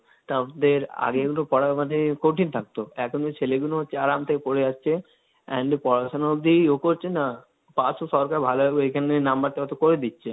তাবের আগে কিন্তু পড়া আমাদের কঠিন থাকতো, এখন তো ছেলেগুলো হচ্ছে আরামসে পড়ে যাচ্ছে, And পড়াশোনা অব্দি ও করছে না, পাস তো সরকার ভালোভাবে এখানের number টাও তো করে দিচ্ছে,